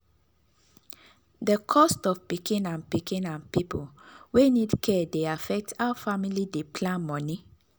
the cost of pikin and pikin and people wey need care dey affect how family dey plan money.